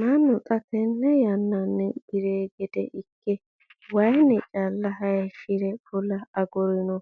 Mannu xa tenne yananni bire gede ikke waayinni calla hayiishire fulla agurinno.